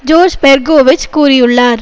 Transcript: George Perkovich கூறியுள்ளார்